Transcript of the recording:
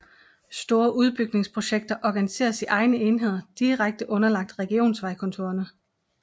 Store udbygningsprojekter organiseres i egne enheder direkte underlagt regionsvejkontorene